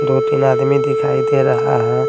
दो तीन आदमी दिखाई दे रहा है।